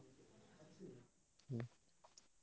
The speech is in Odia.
ହୁଁ।